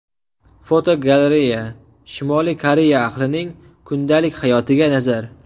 Fotogalereya: Shimoliy Koreya ahlining kundalik hayotiga nazar.